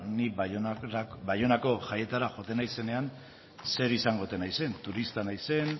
da ni baionako jaietara joaten naizenean zer izango ote naizen turista naizen